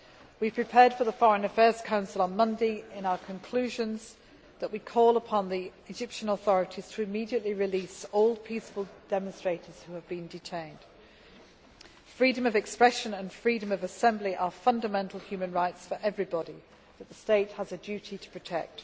We have prepared for the Foreign Affairs Council on Monday with our conclusions calling upon the Egyptian authorities to immediately release all peaceful demonstrators who have been detained. Freedom of expression and freedom of assembly are fundamental human rights for everybody, which the state has a duty to protect.